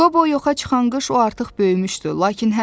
Qobo yoxa çıxan qış o artıq böyümüşdü.